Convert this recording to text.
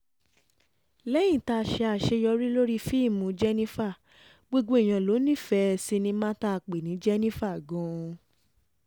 lẹ́yìn tá a ṣe àṣeyọrí lórí fíìmù jẹ́nifà gbogbo èèyàn ló nífẹ̀ẹ́ sinimá tá a pè ní jẹ́nifà gan-an